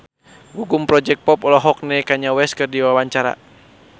Gugum Project Pop olohok ningali Kanye West keur diwawancara